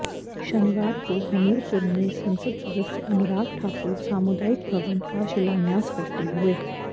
शनिवार को हमीरपुर में संसद सदस्य अनुराग ठाकुर सामुदायिक भवन का शिलान्यास करते हुए